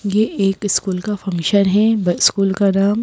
ये एक स्कूल का फंक्शन है स्कूल का नाम--